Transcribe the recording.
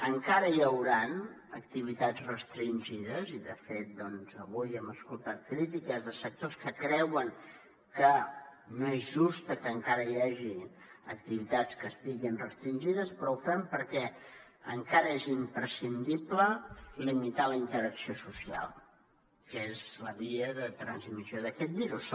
encara hi hauran activitats restringides i de fet avui hem escoltat crítiques de sectors que creuen que no és just que encara hi hagi activitats que estiguin restringides però ho fem perquè encara és imprescindible limitar la interacció social que és la via de transmissió d’aquest virus